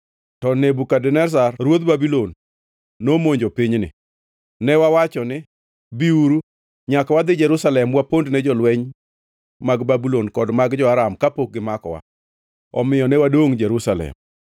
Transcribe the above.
To Nebukadneza ruodh Babulon nomonjo pinyni, ne wawacho ni, ‘Biuru, nyaka wadhi Jerusalem wapondne jolweny mag Babulon kod mag jo-Aram kapok gimakowa.’ Omiyo ne wadongʼ Jerusalem.”